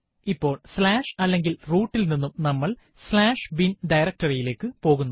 ഇപ്പോൾ അല്ലെങ്കിൽ root ൽ നിന്നും നമ്മൾ bin ഡയറക്ടറി യിലേക്ക് പോകുന്നു